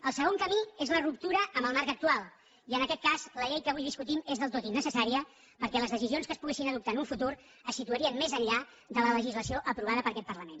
el segon camí és la ruptura amb el marc actual i en aquest cas la llei que avui discutim és del tot innecessària perquè les decisions que es poguessin adoptar en un futur se situarien més enllà de la legislació aprovada per aquest parlament